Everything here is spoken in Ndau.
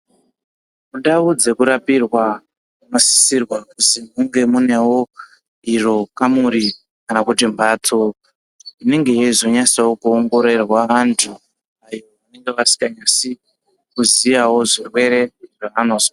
Mundau dzekurapirwa munosisirwa kuzi munge munewo kamuri kana kuti mphatsi inenge yeizonyatsawo kuongororwa anthu ayo anenge asinganyatsi kuziyawo zvirwere zvaanozwa.